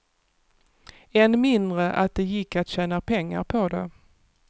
Än mindre att det gick att tjäna pengar på det.